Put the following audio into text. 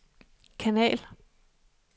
kanal